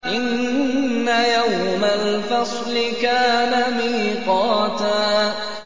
إِنَّ يَوْمَ الْفَصْلِ كَانَ مِيقَاتًا